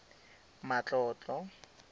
matlotlo